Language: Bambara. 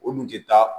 O dun tɛ taa